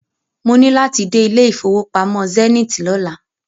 Mo ní láti dé ilé ìfowópamọ́ Zenith lọ́la.